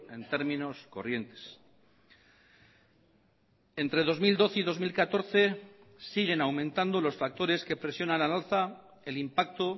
en términos corrientes entre dos mil doce y dos mil catorce siguen aumentando los factores que presionan al alza el impacto